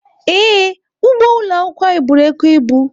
Ee, ugbo ụlọ akwụkwọ anyị buru oke ibu.